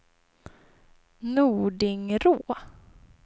Nordingrå